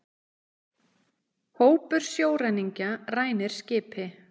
Hópur sjóræningja rænir skipi